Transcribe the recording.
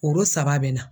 Oro saba bɛ na